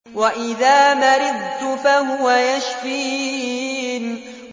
وَإِذَا مَرِضْتُ فَهُوَ يَشْفِينِ